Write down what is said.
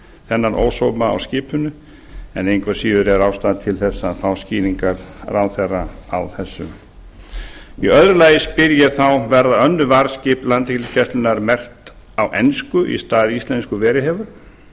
þennan ósóma á skipinu en engu að síður er ástæða til að fá skýringar ráðherra á þessu annars verða önnur varðskip landhelgisgæslunnar merkt á ensku í stað íslensku eins